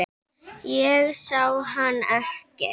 Ég sá hann ekki.